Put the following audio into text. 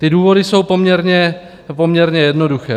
Ty důvody jsou poměrně jednoduché.